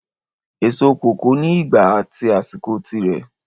Èso kòkó ni ìgbà at àsìkò tí rẹ